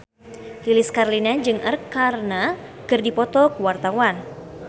Lilis Karlina jeung Arkarna keur dipoto ku wartawan